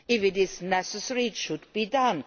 If it is necessary it should be done.